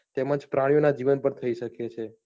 તેમજ પ્રાણીઓં ના જીવન ઉપર થઈ શકે છે.